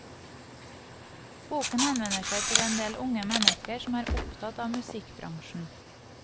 Boken henvender seg til endel unge mennesker som er opptatt av musikkbransjen.